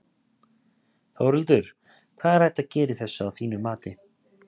Þórhildur: Hvað er hægt að gera í þessu að þínu mati?